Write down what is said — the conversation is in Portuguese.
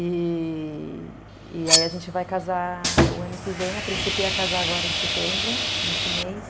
E aí a gente vai casar o ano que vem, a princípio ia casar agora em setembro, nesse mês,